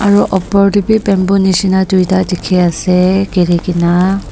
aru opor tae bi bamboo nishina tuita dikhiase girikaena.